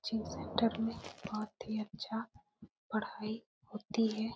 Coaching centre में बहुत ही अच्छा पढ़ाई होती है।